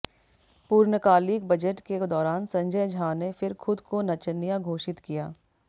पूर्णकालिक बजट के दौरान संजय झा ने फिर ख़ुद को नचनिया घोषित किया